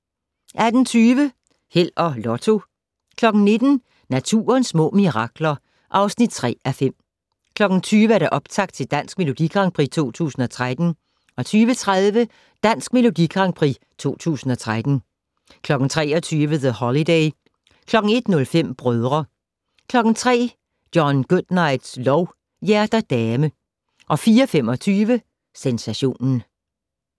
18:20: Held og Lotto 19:00: Naturens små mirakler (3:5) 20:00: Optakt til Dansk Melodi Grand Prix 2013 20:30: Dansk Melodi Grand Prix 2013 23:00: The Holiday 01:05: Brødre 03:00: John Goodnights lov: Hjerter dame 04:25: Sensationen